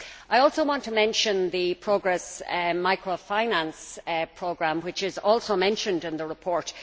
I also want to mention the Progress Microfinance Programme, which is also mentioned in the report.